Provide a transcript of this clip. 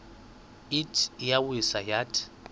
ithi iyawisa yathi